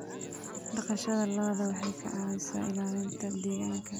Dhaqashada lo'du waxay ka caawisaa ilaalinta deegaanka.